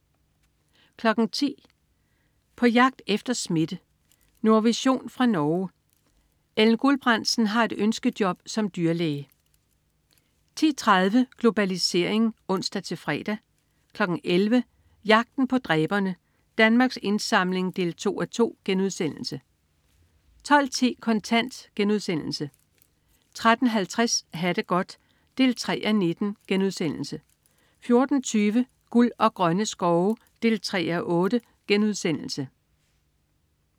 10.00 På jagt efter smitte. Nordvision fra Norge. Ellen Gulbrandsen har et ønskejob som dyrlæge 10.30 Globalisering (ons-fre) 11.00 Jagten på dræberne. Danmarks Indsamling 2:2* 12.10 Kontant* 13.50 Ha' det godt 3:19* 14.20 Guld og grønne skove 3:8*